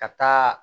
Ka taa